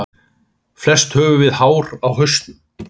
Flest höfum við hár á hausnum.